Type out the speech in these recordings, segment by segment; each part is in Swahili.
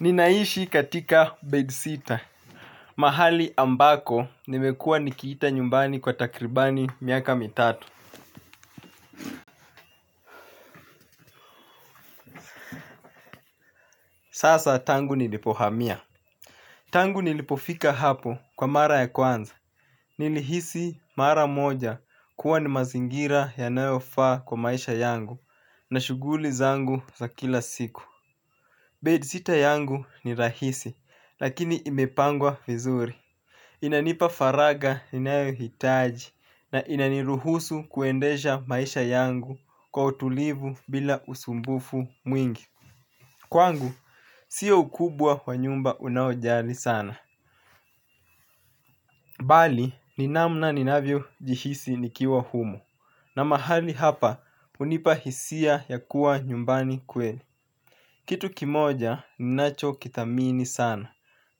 Ninaishi katika bedsitter. Mahali ambako nimekua nikiita nyumbani kwa takribani miaka mitatu. Sasa tangu nilipohamia tangu nilipofika hapo kwa mara ya kwanza nilihisi mara moja kuwa ni mazingira yanayofaa kwa maisha yangu na shuguli zangu za kila siku. Bedsitter yangu ni rahisi. Lakini imepangwa vizuri. Inanipa faraga inayohitaji na inaniruhusu kuendesha maisha yangu kwa utulivu bila usumbufu mwingi. Kwangu, sio ukubwa wa nyumba unaojali sana. Bali, ni namna ninavyo jihisi nikiwa humo. Na mahali hapa, hunipa hisia ya kuwa nyumbani kweli. Kitu kimoja, ninacho kithamini sana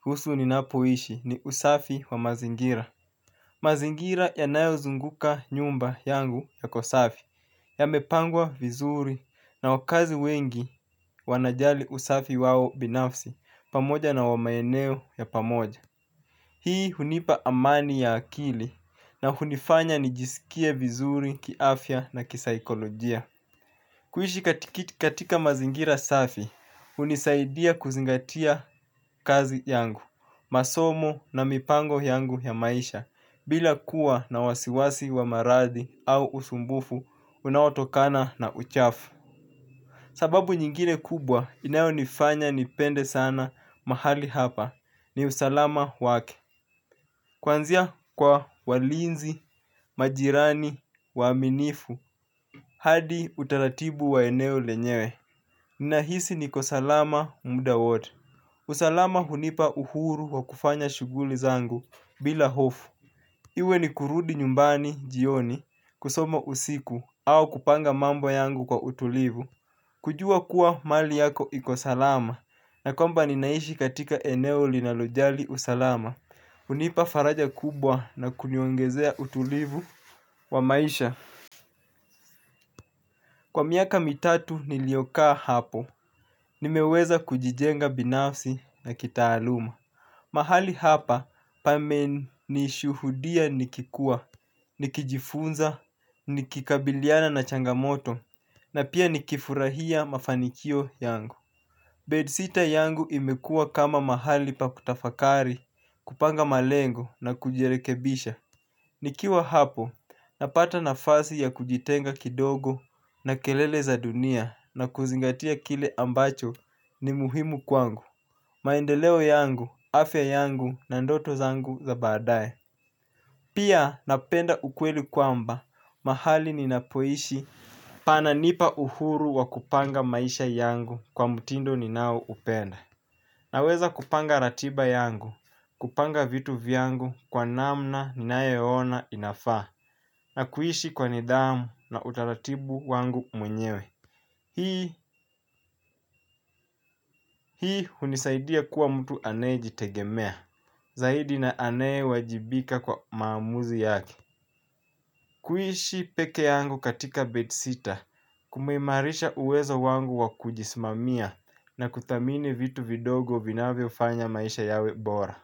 kuhusu ninapoishi ni usafi wa mazingira. Mazingira yanayozunguka nyumba yangu yako safi yamepangwa vizuri na wakazi wengi wanajali usafi wao binafsi pamoja na maeneo ya pamoja. Hii hunipa amani ya akili na hunifanya nijisikie vizuri kiafya na kisaikolojia. Kuishi katika mazingira safi, hunisaidia kuzingatia kazi yangu, masomo na mipango yangu ya maisha, bila kuwa na wasiwasi wa maradhi au usumbufu unaotokana na uchafu. Sababu nyingine kubwa, inayonifanya nipende sana mahali hapa, ni usalama wake. Kuanzia kwa walinzi, majirani, waaminifu, hadi utaratibu wa eneo lenyewe. Ninahisi niko salama. Muda wowote. Usalama hunipa uhuru wa kufanya shuguli zangu bila hofu. Iwe ni kurudi nyumbani jioni kusoma usiku au kupanga mambo yangu kwa utulivu. Kujua kuwa mali yako iko salama na kwamba ninaishi katika eneo linalojali usalama. Hunipa faraja kubwa na kuniongezea utulivu wa maisha. Kwa miaka mitatu niliyokaa hapo, nimeweza kujijenga binafsi na kitaaluma. Mahali hapa pamenishuhudia nikikua, nikijifunza, nikikabiliana na changamoto, na pia nikifurahia mafanikio yangu. Bedsitter yangu imekuwa kama mahali pa kutafakari kupanga malengo na kujirekebisha. Nikiwa hapo napata nafasi ya kujitenga kidogo na kelele za dunia na kuzingatia kile ambacho ni muhimu kwangu. Maendeleo yangu, afya yangu na ndoto zangu za baadae. Pia napenda ukweli kwamba mahali ninapoishi pananipa uhuru wa kupanga maisha yangu kwa mtindo ninao upenda. Naweza kupanga ratiba yangu, kupanga vitu vyangu kwa namna ninayoona inafaa na kuishi kwa nidhamu na utaratibu wangu mwenyewe. Hii, hii hunisaidia kuwa mtu anayejitegemea, zaidi na aneyewajibika kwa maamuzi yaki. Kuishi peke yangu katika bedsitter, kumeimarisha uwezo wangu wa kujisimamia na kuthamini vitu vidogo vinavyofanya maisha yawe bora.